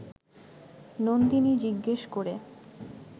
নন্দিনী জিজ্ঞেস করে